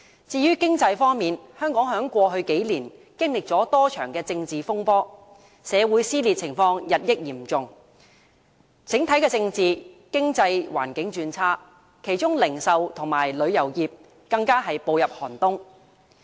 至於經濟方面，香港在過去數年經歷了多場政治風波，社會撕裂日益嚴重，整體政治、經濟環境轉差，其中零售業和旅遊業更步入寒冬。